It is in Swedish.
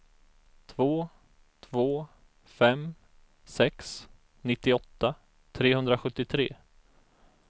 två två fem sex nittioåtta trehundrasjuttiotre